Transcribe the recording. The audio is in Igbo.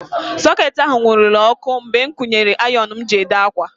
Soketị ahụ nwurule ọkụ mgbe m kwunyere ayon m ji ede ákwà.